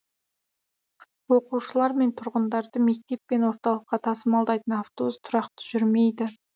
оқушылар мен тұрғындарды мектеп пен орталыққа тасымалдайтын автобус тұрақты жүрмейді